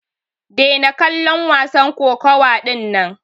Daina kallon wasan kokawa dinnan!